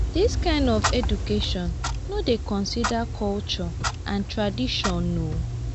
this kind of education no dey consider culture and tradition um